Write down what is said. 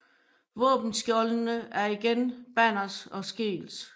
Våbenskjoldene er igen Banners og Skeels